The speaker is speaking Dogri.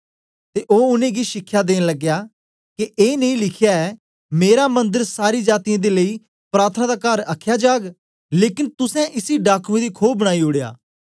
ते ओ उनेंगी शिखया देन लग्या के ए नेई लिखया ऐ मेरा मंदर सारी जातीयें दे लेई प्रार्थना दा कर आखया जाग लेकन तुसें इसी डाकुयें दी खो बनाई ओड़या